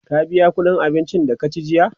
ka biya ƙuɗin abincin da ka ci jiya?